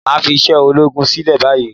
Máà fi iṣẹ́ ológun sílẹ̀ báyìí